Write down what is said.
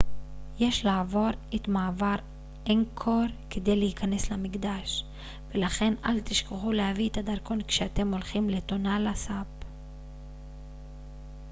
יש לעבור את מעבר אנגקור כדי להיכנס למקדש ולכן אל תשכחו להביא את הדרכון כשאתם הולכים לטונלה סאפ